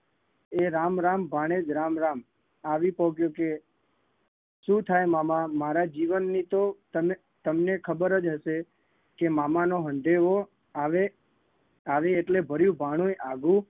એ રામ રામ ભાણેજ રામ રામ આવી પોકયો કે? શું થાય મામા મારા જીવનની તો તને તમને ખબર જ હશે કે મામાનો હંધેહો આવે આવે એટલે ભર્યું ભાણુંય આઘું